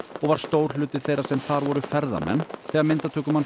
og var stór hluti þeirra sem þar voru ferðamenn þegar